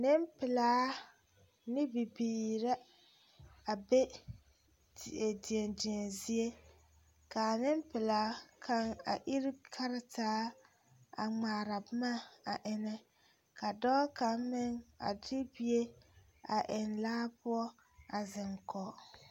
Nempelaa ane bibiiri la a be deɛdeɛzie k,a nempelaa kaŋ abiri kartaa a ŋmaara boma a eŋnɛ ka dɔɔ kaŋ meŋ a de bie a eŋ laa poɔ a zeŋ kɔge.